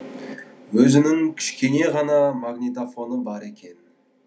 өзінің кішкене ғана магнитофоны бар екен